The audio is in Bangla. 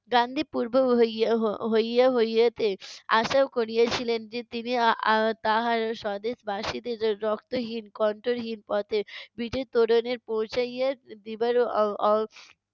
গান্ধী পূর্ব হইয়ে~ হই~ হইয়ে হইয়েতে আশা করিয়েছিলেন যে, তিনি আহ তাহার স্বদেশবাসীদের রক্তহীন, কন্টরহীন পথে বিজয় তোরণে পৌঁছাইয়া দিবারও